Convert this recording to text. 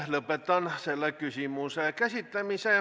Lõpetan selle küsimuse käsitlemise.